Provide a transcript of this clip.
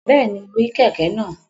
Bẹ́ẹ̀ni, mo rí kẹ̀kẹ́ náà